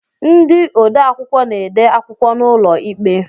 Ndị odeakwụkwọ na-ede akwụkwọ n'ụlọikpe